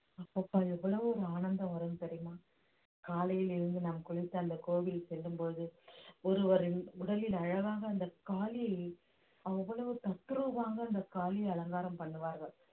அப்பப்பா எவ்வளவு ஒரு ஆனந்தம் வரும் தெரியுமா காலையில் எழுந்து நாம் குளித்து அந்த கோவில் செல்லும்போது ஒருவரின் உடலில் அழகாக அந்த காளி அவ்வளவு தத்ரூபமாக அந்த காளியை அலங்காரம் பண்ணுவார்கள்